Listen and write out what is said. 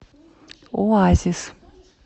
оазис